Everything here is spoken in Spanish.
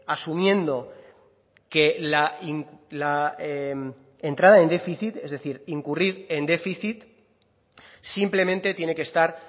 asumiendo que la entrada en déficit es decir incurrir en déficit simplemente tiene que estar